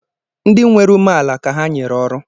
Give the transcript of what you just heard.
Ndị nwere umeala ka ha nyere ọrụ